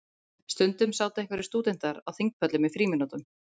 Stundum sátu einhverjir stúdentar á þingpöllum í frímínútum.